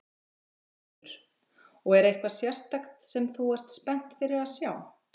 Þórhildur: Og er eitthvað sérstakt sem að þú ert spennt fyrir að sjá?